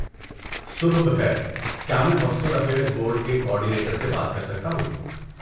صبح بخیر، کیا میں ہاسٹل افیئرز بورڈ کے کوآرڈینیٹر سے بات کر سکتا ہوں؟